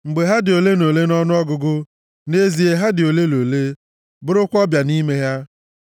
Mgbe ha dị ole na ole nʼọnụọgụgụ, nʼezie ha dị ole na ole, bụrụkwa ọbịa nʼime ya.